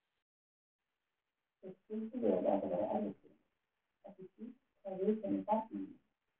Þeir skildu vel að þetta væri erfitt fyrir mig, ekki síst hvað viðkæmi barninu mínu.